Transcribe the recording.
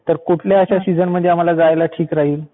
ठीक आहे. तर कुठल्या अशा सीजनमध्ये आम्हाला जायला ठीक राहील?